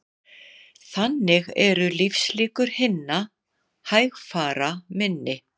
Þannig eru lífslíkur hinna hægfara minni